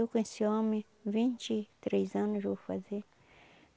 com esse homem, vinte e três anos vou fazer.